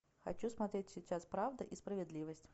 хочу смотреть сейчас правда и справедливость